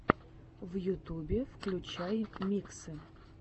в ютубе включай миксы